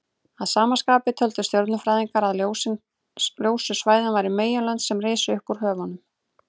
Að sama skapi töldu stjörnufræðingarnir að ljósu svæðin væru meginlönd sem risu upp úr höfunum.